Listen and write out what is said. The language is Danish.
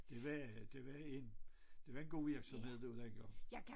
Det var det var en det var en god virksomhed der dengang